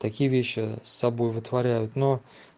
такие вещи с собой вытворяют но